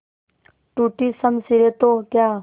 टूटी शमशीरें तो क्या